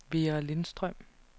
Vera Lindstrøm